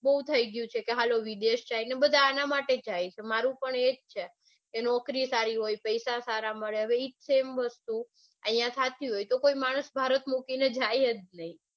બઉ થઇ ગયું છે કે હાલો વિદેશ જાઈયે બધા આના માટે જ જાય છે મારુ પણ આજ છે ત્યાં નોકરી સારી છે પૈસા સારા મળે હવે ઈ જ સેમ વસ્તુ આઇયા થતી હોય તો કોઈ માણસ ભારત છોડીને જાય જ નઈ.